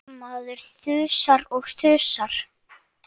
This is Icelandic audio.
Maður þusar og þusar.